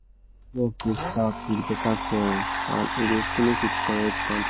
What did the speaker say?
work dey start with better clearing and e dey finish with correct planting